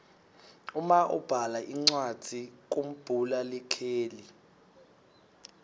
uma ubhala incwadzi kumbhula likheli